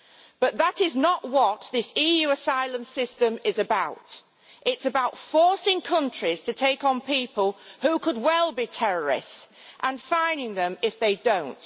But that is not what this EU asylum system is about it is about forcing countries to take on people who could well be terrorists and fining them if they do not.